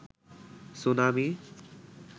tsunami